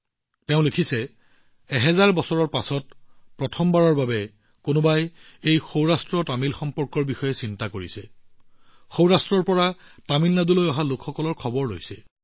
তেওঁ কয় যে হাজাৰ বছৰৰ পিছত প্ৰথমবাৰৰ বাবে কোনোবাই সৌৰাষ্ট্ৰতামিল সম্পৰ্কৰ বিষয়ে চিন্তা কৰিছে আৰু সৌৰাষ্ট্ৰৰ পৰা তামিলনাডুত বসতি স্থাপন কৰা লোকসকলক সন্মুখলৈ আনিছে